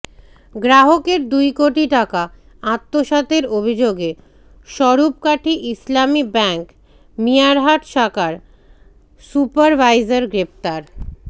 গ্রাহকের দুই কোটি টাকা আত্মসাতের অভিযোগে স্বরূপকাঠি ইসলামী ব্যাংক মিয়ারহাট শাখার সুপারভাইজার গ্রেফতার